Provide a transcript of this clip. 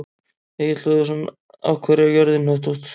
Egill Hlöðversson: Af hverju er jörðin hnöttótt?